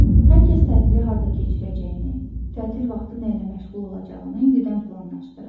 Hər kəs tətil harda keçirəcəyini, tətil vaxtı nəylə məşğul olacağını indidən planlaşdırır.